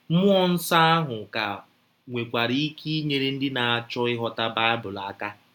Mmụọ nsọ ahụ ka nwekwara ike inyere ndị na - achọ ịghọta Baịbụl aka.